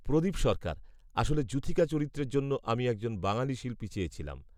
প্রদীপ সরকার, আসলে যূথিকা চরিত্রের জন্য আমি একজন বাঙালি শিল্পী চেয়েছিলাম।